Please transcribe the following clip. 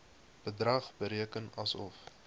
bedrag bereken asof